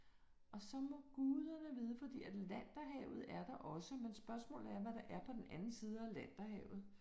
Og så må guderne vide fordi Atlanterhavet er der også men spørgsmålet er, hvad der er på den anden side af Atlanterhavet